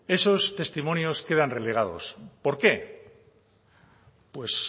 esos testimonios quedan relegados por qué pues